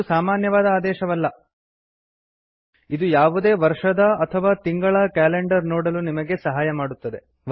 ಇದು ಸಾಮಾನ್ಯವಾದ ಆದೇಶವಲ್ಲ ಇದು ಯಾವುದೇ ವರ್ಷದ ಅಥವಾ ತಿಂಗಳ ಕ್ಯಾಲೆಂಡರ್ ನೋಡಲು ನಮಗೆ ಸಹಾಯ ಮಾಡುತ್ತದೆ